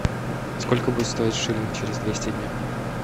сколько будет стоить шиллинг через двести дня